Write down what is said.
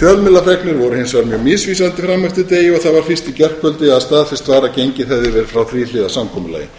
voru hins vegar mjög misvísandi fram eftir degi og það var fyrst í gærkvöldi að staðfest var að gengið hefði verið frá þríhliða samkomulagi